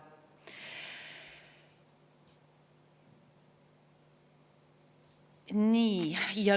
Nii.